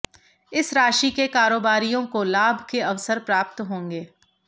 इस राशि के कारोबारियों को लाभ के अवसर प्राप्त होंगे